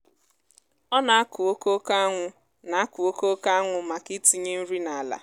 ọ na-akụ okooko anwụ na-akụ okooko anwụ maka itinye nri n’ala